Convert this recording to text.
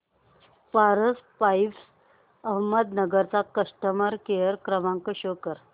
Paras pipes Ahmednagar चा customer care क्रमांक show करा